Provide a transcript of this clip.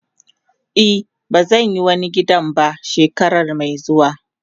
Eh bazan yi wani gidan ba shekarar me zuwa.